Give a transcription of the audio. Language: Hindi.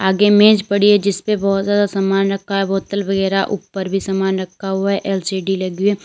आगे मेज पड़ी है जिसपे बहुत ज्यादा सामान रखा है बोतल वगैरा ऊपर भी सामान रखा हुआ है एल_सी_डी लगी है।